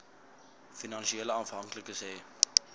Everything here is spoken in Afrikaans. finansiële afhanklikes hê